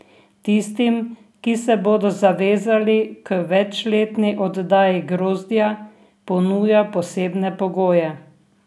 Tistim, ki se bodo zavezali k večletni oddaji grozdja, ponuja posebne pogoje.